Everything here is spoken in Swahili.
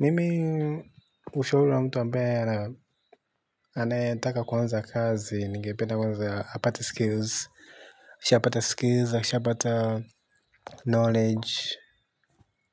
Mimi ushauri wa mtu ambaye ana aneyetaka kuanza kazi, ningependa kwanza apate skills, akishapata skills, akishapata knowledge,